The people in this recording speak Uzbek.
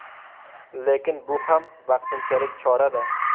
Lekin bu ham vaqtinchalik chora-da.